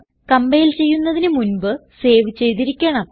compile ചെയ്യുന്നതിന് മുൻപ് save ചെയ്തിരിക്കണം